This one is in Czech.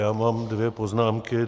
Já mám dvě poznámky.